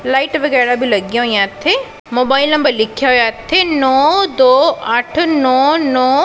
light ਵਗੈਰਾ ਵੀ ਲੱਗੀਆਂ ਹੋਈਆਂ ਇੱਥੇ ਮੋਬਾਈਲ ਨੰਬਰ ਲਿਖਿਆ ਹੋਇਆ ਇੱਥੇ ਨੋ ਦੋ ਅੱਠ ਨੋ ਨੋ --